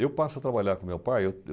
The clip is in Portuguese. Eu passo a trabalhar com meu pai.